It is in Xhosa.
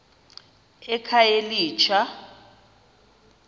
ekhayelitsha